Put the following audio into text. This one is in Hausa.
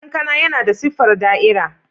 Kankana yana da siffar da'ira.